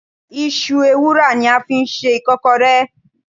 Isú èwurá ní a ń fí sẹ ikọkọré